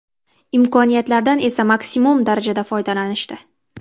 Imkoniyatlardan esa maksimum darajada foydalanishdi.